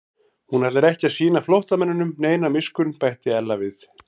Hún ætlar ekki að sýna flóttamanninum neina miskunn bætti Ella við.